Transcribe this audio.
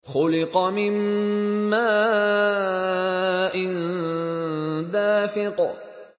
خُلِقَ مِن مَّاءٍ دَافِقٍ